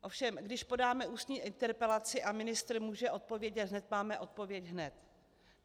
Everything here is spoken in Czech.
Ovšem když podáme ústní interpelaci a ministr může odpovědět hned, máme odpověď hned.